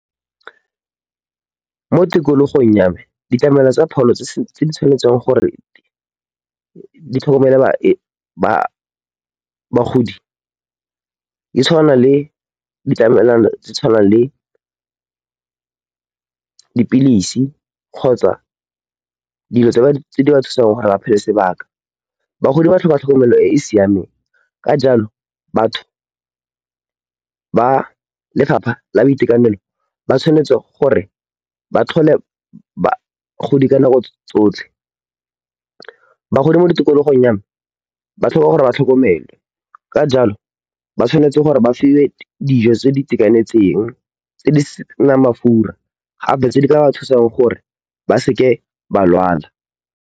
Mo tikologong ya me ditlamelo tsa pholo tse di tshwanetseng gore ditlhokomele bagodi di tshwana le ditlamelwana tse tshwanang le dipilisi kgotsa dilo tse di ba thusang gore ba phele sebaka. Bagodi ba tlhoka tlhokomelo e e siameng ka jalo, batho ba lefapha la boitekanelo ba tshwanetse gore ba tlhole go di ka nako tsotlhe. Bagodi mo tikologong ya me ba tlhoka gore ba tlhokomelwe. Ka jalo, ba tshwanetse gore ba fiwe dijo tse di itekanetseng, tse di senang mafura gape tse di ka ba thusang gore ba seke ba lwala.